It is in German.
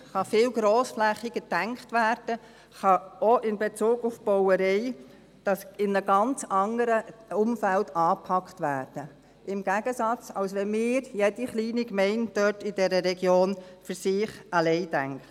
sie kann viel grossflächiger gedacht werden, sie kann auch in Bezug auf die Bautätigkeiten in einem ganz anderen Umfeld angepackt werden, als wenn wir – jede kleine Gemeinde in dieser Region – im Gegensatz dazu für sich alleine denken.